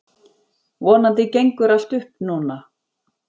Vonandi gengur allt upp núna.